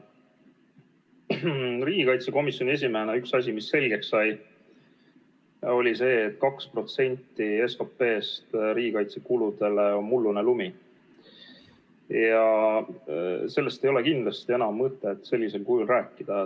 Üks asi, mis riigikaitsekomisjoni esimehena selgeks sai, oli see, et 2% SKP-st riigikaitsekuludele on mullune lumi ja sellest ei ole kindlasti enam mõtet sellisel kujul rääkida.